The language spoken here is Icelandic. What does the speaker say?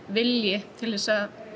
vilji til þess að